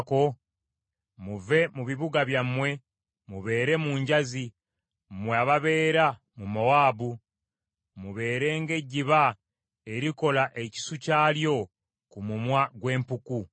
Muve mu bibuga byammwe mubeere mu njazi, mmwe ababeera mu Mowaabu. Mubeere ng’ejjiba erikola ekisu kyalyo ku mumwa gw’empuku.